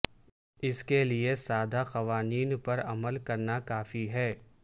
اس کے لئے سادہ قوانین پر عمل کرنا کافی ہے